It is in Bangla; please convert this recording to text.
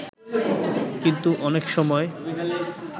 কিন্তু অনেক সময়